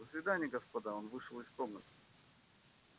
до свидания господа он вышел из комнаты